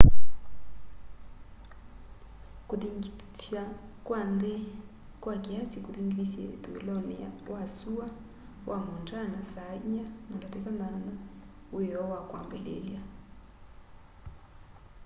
kuthingitha kwa nthi kwa kiasi kuthingithisye uthuiloni wa sua wa montana saa 10:08 wioo wa kwambiliilya